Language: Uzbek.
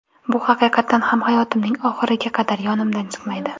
Bu haqiqatan ham hayotimning oxiriga qadar yodimdan chiqmaydi.